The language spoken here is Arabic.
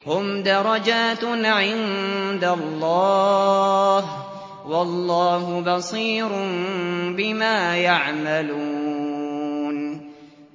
هُمْ دَرَجَاتٌ عِندَ اللَّهِ ۗ وَاللَّهُ بَصِيرٌ بِمَا يَعْمَلُونَ